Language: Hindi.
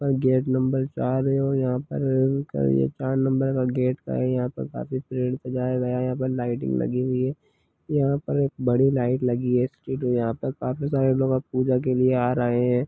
गेट नंबर चार है यहां पर चार नंबर के गेट है यहां पर काफी पेड़ सजाये गए है यहां पर लाइटिंग लगी हुए है यहां पर एक बड़ी लाइट लगी हुए है स्ट्रीट और यहां पर काफी लोग पूजा के लिए आ रहे है।